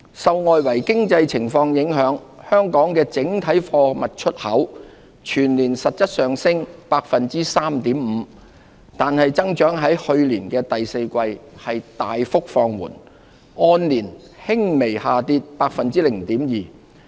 受外圍經濟情況影響，香港的整體貨物出口全年實質上升 3.5%， 然而增長在去年第四季大幅放緩，按年輕微下跌 0.2%。